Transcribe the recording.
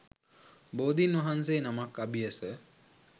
බෝධීන් වහන්සේ නමක් අභියස